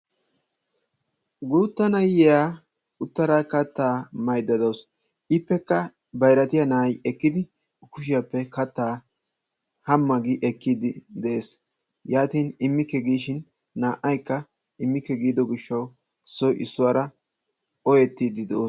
Guutta na'iyaa uttada kattaa mayidda dawusu ippekka bayiratiyaa na'ay ekkidi kushiyaappe kattaa hamma gi ekkiiddi de'ees. yaatin immikke giishin naa"ayikka immikke giido gishshawu issoy issuwaara oyettiiddi de'oosona.